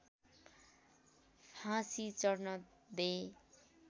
फाँसी चढ्न दे